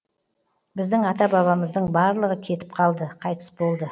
біздің ата бабамыздың барлығы кетіп қалды қайтыс болды